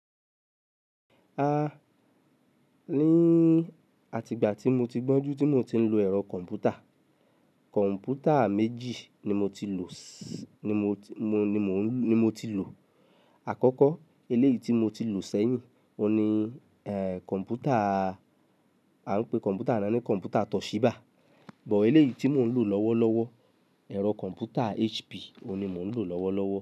Nìi àti ìgbà tí mo ti gbọ́njú tí mo ti ń lo ẹ̀rọ kọ̀ǹpútà, kọ̀ǹpútà méjì ni mo ti lò, ni mo ti lò. Àkọ́kọ́, eléyìí tí mo ti lò sẹ́yìn, o ni, kọ̀ǹpútà, a ń pè kọ̀ǹpútà náà ní kọ̀ǹpútà Toshiba. Bọ̀ eléyìí tí mò ń lò lọ́wọ́lọ́wọ́, ẹ̀rọ kọ̀ǹpútà HP, òun ni mò ń lò lọ́wọ́lọ́wọ́